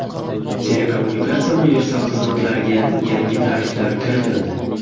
Telekommunikatsiya universal xizmatlariga yangi tariflar kiritildi.